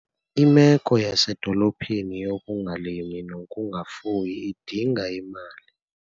Imeko yasedolophini yokungalimi nokungafuyi idinga imali.